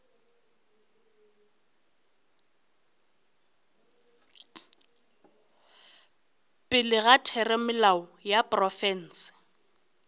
pele ga theramelao ya profense